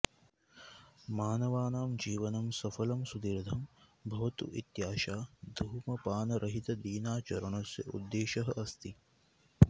मानवानां जीवनं सफलं सुदीर्धं भवतु इत्याशा धूमपानरहितदिनाचरणस्य उद्देशः अस्ति